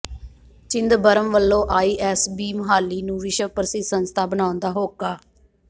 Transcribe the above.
ਚਿਦੰਬਰਮ ਵਲੋਂ I S B Mohali ਨੂੰ ਵਿਸ਼ਵ ਪ੍ਰਸਿਧ ਸੰਸਥਾ ਬਣਾਉਣ ਦਾ ਹੋਕਾ